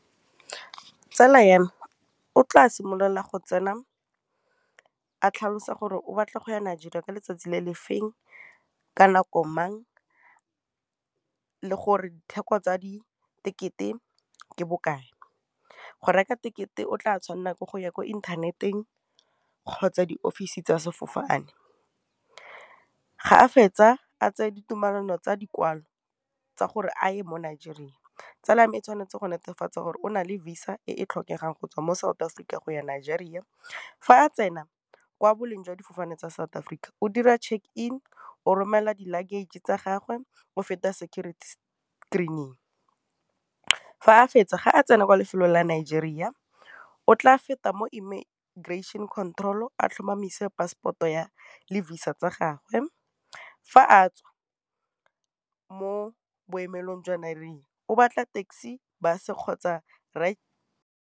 Tsala ya me o tla simolola go tsena a tlhalosa gore o batla go ya Nigeria ka letsatsi le le feng, ka nako mang, le gore ditheko tsa di ticket-e ke bokae. Go reka tekete o tla tshwanela ke go ya ko inthaneteng, kgotsa di office tsa sefofane, ga a fetsa a tseye ditumelano tsa dikwalo tsa gore aye mo Nigeria. Tsala ya me e tshwanetse go netefatsa gore o na le Visa e e tlhokegang go tswa mo South Africa go ya Nigeria, fa a tsena kwa boleng jwa difofane tsa South Africa, o dira check-in, o romela di luggage tsa gagwe, o feta security screening, fa a fetsa, ga a tsena kwa lefelo la Nigeria, o tla feta mo control-o, a tlhomamise passport-o lefisa tsa gagwe, fa a tswa mo boemelong jwa Nigeria, o batla taxi kgotsa .